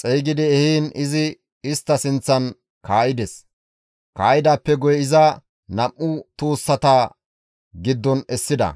xeygidi ehiin izi istta sinththan kaa7ides; kaa7idaappe guye iza nam7u tuussata giddon essida.